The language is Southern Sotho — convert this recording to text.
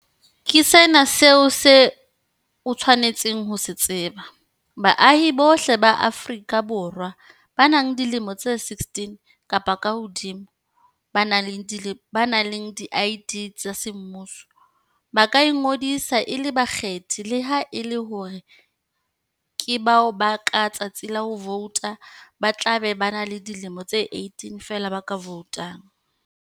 Ke sena seo o tshwanelang ho se tseba- Baahi bohle ba Aforika Borwa ba nang le dilemo tse 16 kapa kahodimo, ba nang le di-ID tsa semmuso, ba ka ingodisa e le bakgethi le ha e le hore ke bao ka letsatsi la ho vouta ba tlabe ba le dilemo di 18 feela ba ka voutang.